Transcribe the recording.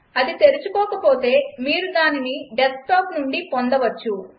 అది తెరుచుకోకపోతే మీరు దానిని డెస్క్టాప్ నుండి పొందవచ్చు